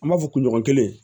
An b'a fɔ kunɲɔgɔn kelen